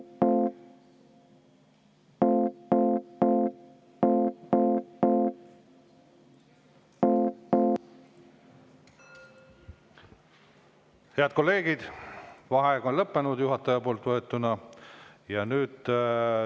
Head kolleegid, juhataja võetud vaheaeg on lõppenud.